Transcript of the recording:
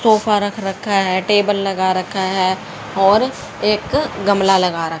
sofa रख रखा है टेबल लगा रखा है और एक गमला लगा र--